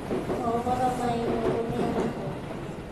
Mohoro ma Inoro mĩaraho